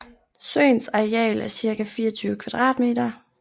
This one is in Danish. Søens areal er cirka 24 km²